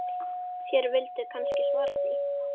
Þér vilduð kannski svara því.